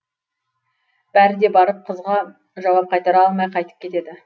бәрі де барып қызға жауап қайтара алмай қайтып кетеді